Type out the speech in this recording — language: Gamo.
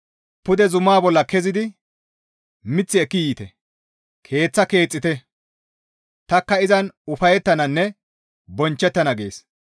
Pude zuma bolla kezidi mith ekki yiite; keeththaka keexxite; tanikka izan ufayettananne bonchchettana» gees.